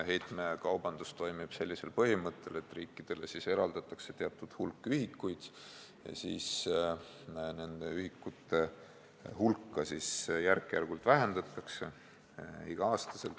Heitekaubandus toimib sellisel põhimõttel, et kõigepealt eraldatakse riikidele teatud hulk ühikuid ja seejärel hakatakse nende ühikute hulka igal aastal järk-järgult vähendama.